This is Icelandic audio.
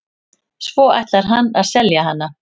Svo ætlar hann að selja hana.